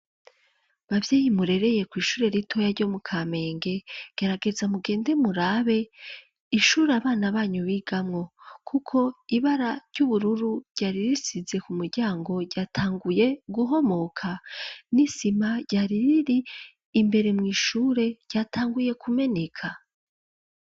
Bavyeyi murereye kw'ishure ritoya ryo mu Kampenge gerageza mugende murabe ishure abana banyu bigamwo. Kuko ibara ry'ubururu yari risize ku muryango, ryatanguye guhomoka. N'isima ryari riri imbere mw' ishure ryatanguye kumeneka.